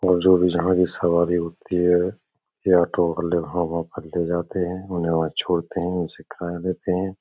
और जो भी जहाँ भी सवारी होती है। यह ऑटो वहाँ - वहाँ पर ले जाते हैं। उन्हें वहाँ छोड़ते हैं। उनसे खाया लेते हैं।